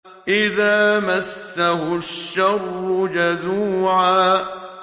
إِذَا مَسَّهُ الشَّرُّ جَزُوعًا